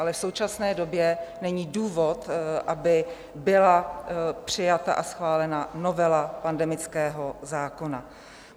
Ale v současné době není důvod, aby byla přijata a schválena novela pandemického zákona.